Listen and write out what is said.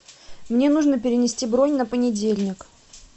мне нужно перенести бронь на понедельник